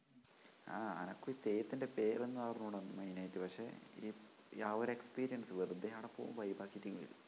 ആ അനക്കും ഈ തെയ്യത്തിൻ്റെ പേരൊന്നുമറിഞ്ഞൂടാ main ആയിട്ട് പക്ഷെ ഈ ആ ഒരു experience വെറുതെ അവിടെപ്പോവും vibe ആക്കീട്ടിങ്ങു പോരും